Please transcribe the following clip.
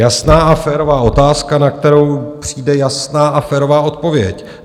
Jasná a férová otázka, na kterou přijde jasná a férová odpověď.